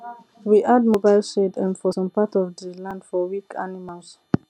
we add mobile shade um for some part of the land for weak animals